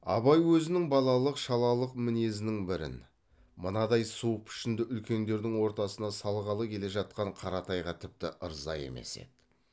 абай өзінің балалық шалалық мінезінің бірін мынадай суық пішінді үлкендердің ортасына салғалы келе жатқан қаратайға тіпті ырза емес еді